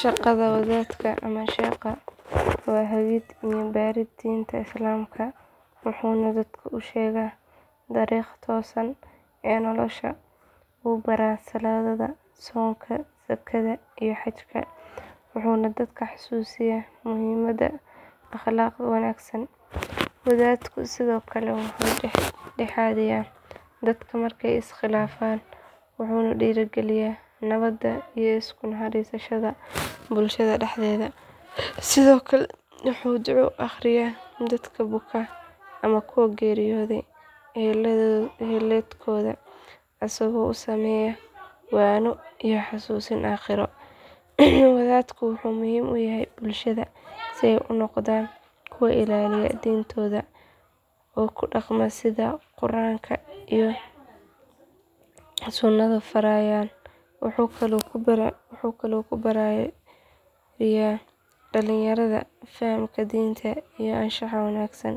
Shaqada wadadka ama sheekha waa hagid iyo barid diinta islaamka wuxuuna dadka u sheegaa dariiqa toosan ee nolosha uu baraa salaadda soonka zakada iyo xajka wuxuuna dadka xasuusiyaa muhiimada akhlaaqda wanaagsan wadadku sidoo kale wuxuu dhex dhexaadiyaa dadka markay is khilaafaan wuxuuna dhiirrigeliyaa nabadda iyo isu naxariisashada bulshada dhexdeeda sidoo kale wuxuu duco u akhriyaa dadka buka ama kuwa geeriyooday ehelkooda asagoo u sameeya waano iyo xusuusin aakhiro wadadku wuxuu muhiim u yahay bulshada si ay u noqdaan kuwo ilaaliya diintooda oo u dhaqma sida qur’aanka iyo sunnadu farayaan wuxuu kaloo ku barbaariyaa dhallinyarada fahamka diinta iyo anshaxa wanaagsan